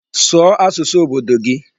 Sụọ asụsụ obodo gị!